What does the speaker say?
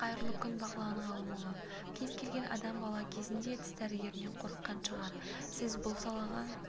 қайырлы күн бағлан ғалымұлы кез келген адам бала кезінде тіс дәрігерінен қорыққан шығар сіз бұл салаға